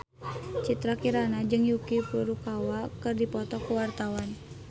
Citra Kirana jeung Yuki Furukawa keur dipoto ku wartawan